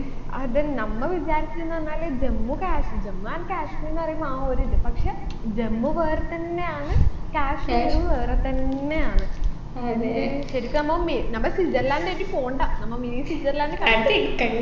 അതെന്നെ നമ്മ വിചാരിച്ച്ന്ന് പറഞ്ഞാൽ ജമ്മു കാശ് ജമ്മു and കാശ്മീർ എന്ന് പറയുമ്പൊ ആ ഒരു ഇത് പക്ഷെ ജമ്മു വേറെത്തന്നെയാണ് കാശ്മീർ വേറെത്തന്നെയാണ് ശരിക്കും നമ്മ മി നമ്മ സ്വിറ്റ്സർലൻഡിലേക്ക് പോണ്ട നമ്മ mini സ്വിറ്റ്സര്‍ലാഡ് കണ്ടു